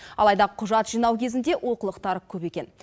алайда құжат жинау кезінде олқылықтар көп екен